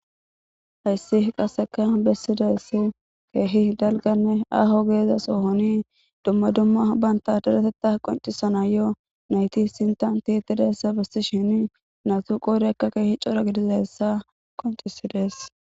hayssi qaseka bessidayss keehi dalganne aho geezaso honi dumma dumma banta daretetta qoncisana yo nayti sintan ti tidassa besti shini natu qoodekka keehi cora gidizassa qoncisidees.